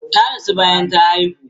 Ta rasu bayan ta haihu.